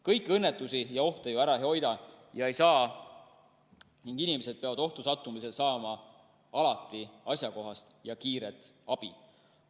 Kõiki õnnetusi ja ohte ju ära hoida ei saa ning inimesed peavad ohtu sattumisel saama alati asjakohast ja kiiret abi.